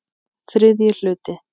Þriðji hluti